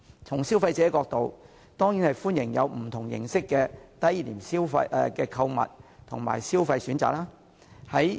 從消費者角度來看，他們當然歡迎不同形式的低廉購物和消費選擇。